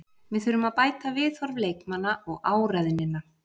Við þurfum að bæta viðhorf leikmanna og áræðnina.